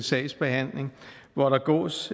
sagsbehandling hvor der gås